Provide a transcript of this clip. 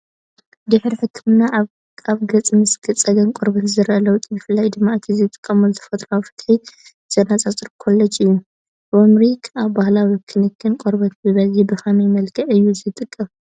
ድሕሪ ሕክምና ኣብ ገጽ ምስ ጸገም ቆርበት ዝረአ ለውጢ ብፍላይ ድማ እቲ ዝጥቀመሉ ተፈጥሮኣዊ ፍታሕ ዘነጻጽር ኮላጅ እዩ። ርሚሪክ ኣብ ባህላዊ ክንክን ቆርበት ብብዝሒ ብኸመይ መልክዕ እዩ ዝጥቀም?